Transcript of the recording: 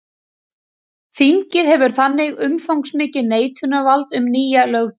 Þingið hefur þannig umfangsmikið neitunarvald um nýja löggjöf.